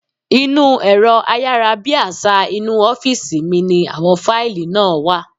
Inú ẹ̀rọ ayárabíàṣá inú ọ́fìsì mi ní àwọn fáìlì náà wà